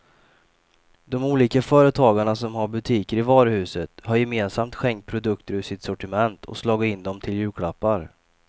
De olika företagarna som har butiker i varuhuset har gemensamt skänkt produkter ur sitt sortiment och slagit in dem till julklappar.